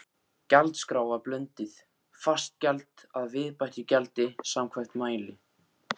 Gjaldskrá var blönduð, fast gjald að viðbættu gjaldi samkvæmt mæli.